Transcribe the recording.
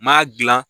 M'a gilan